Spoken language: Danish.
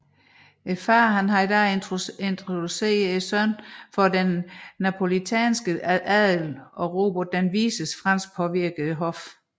Faderen havde da introduceret sønnen for den napolitanske adel og Robert den Vises franskpåvirkede hof